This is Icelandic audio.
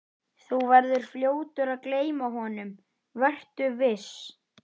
Þú verður fljótur að gleyma honum, vertu viss.